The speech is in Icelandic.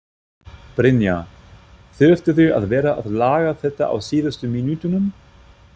Brynja: Þurftirðu að vera að laga þetta á síðustu mínútunum?